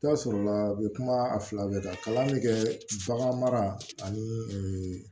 I bɛ taa sɔrɔla u bɛ kuma a fila bɛɛ kan kalan bɛ kɛ bagan mara ani